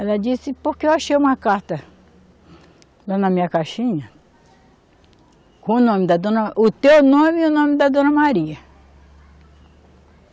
Ela disse, porque eu achei uma carta lá na minha caixinha com o nome da Dona, o teu nome e o nome da Dona Maria.